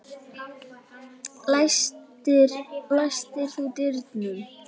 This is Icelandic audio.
Læstir þú dyrunum?